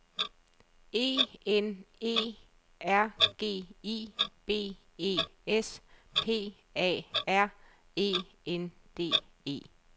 E N E R G I B E S P A R E N D E